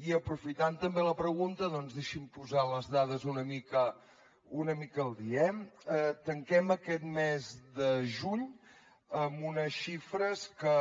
i aprofitant també la pregunta doncs deixi’m posar les dades una mica al dia eh tanquem aquest mes de juny amb unes xifres que